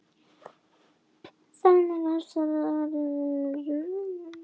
Þaðan munu stóru fyrirsagnirnar skapast þetta árið.